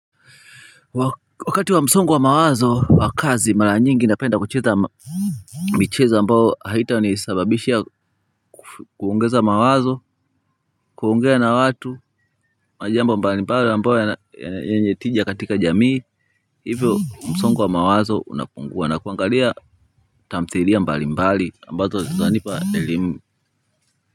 Wakati wa msongo wa mawazo wa kazi mara nyingi napenda kucheza michezo ambayo haita nisababisha kuongeza mawazo kuongea na watu majambo mbali mbali ambayo yenye tija katika jamii hivyo msongo wa mawazo unapungua na kuangalia tamthilia mbali mbali ambazo zanipa elimu.